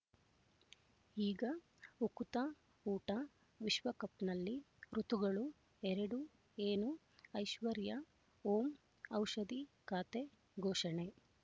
ಈಗ ಉಕುತ ಊಟ ವಿಶ್ವಕಪ್‌ನಲ್ಲಿ ಋತುಗಳು ಎರಡು ಏನು ಐಶ್ವರ್ಯಾ ಓಂ ಔಷಧಿ ಖಾತೆ ಘೋಷಣೆ